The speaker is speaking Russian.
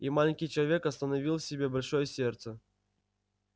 и маленький человек остановил в себе большое сердце